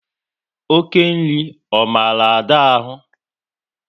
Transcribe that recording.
Oké nri ọ maru Ada ahụ?